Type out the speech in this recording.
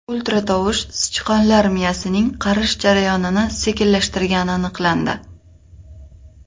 Ultratovush sichqonlar miyasining qarish jarayonini sekinlashtirgani aniqlandi.